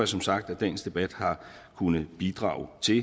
som sagt at dagens debat har kunnet bidrage til